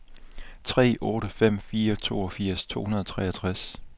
tre otte fem fire toogfirs to hundrede og treogtres